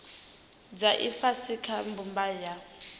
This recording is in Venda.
dza ifhasi kha mbumbano ya